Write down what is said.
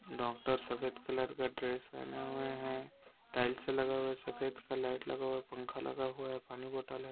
Doctor सफेद colour का dress पहने हुऐ हैं टाइल्स लगा हुआ है सफेद का लाइट लगा हुआ है पंखा लगा हुआ हैं पानी बोतल हैं।